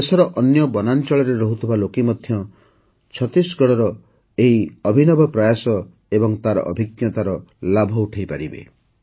ଦେଶର ଅନ୍ୟ ବନାଞ୍ଚଳରେ ରହୁଥିବା ଲୋକେ ମଧ୍ୟ ଛତିଶଗଡ଼ର ଏହି ନିଆରା ପ୍ରୟାସ ଏବଂ ତାର ଅଭିଜ୍ଞତାର ଲାଭ ଉଠାଇପାରିବେ